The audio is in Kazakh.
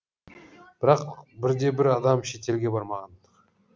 бірақ бір де бір адам шетелге бармаған